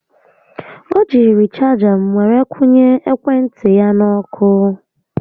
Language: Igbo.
O jiiri chaga m were kwụnye ekwe ntị ya n'ọkụ